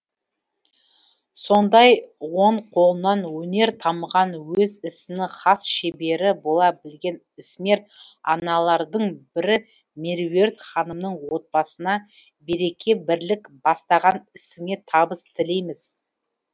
сондай он қолынан өнер тамған өз ісінің хас шебері бола білген ісмер аналардың бірі меруерт ханымның отбасына береке бірлік бастаған ісіңе табыс тілейміз